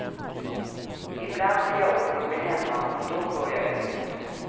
I bland blir jag orolig hemma och då går jag ut.